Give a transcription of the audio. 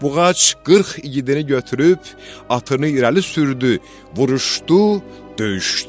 Buğac 40 igidini götürüb atını irəli sürdü, vuruşdu, döyüşdü.